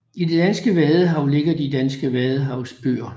I det danske vadehav ligger de danske vadehavsøer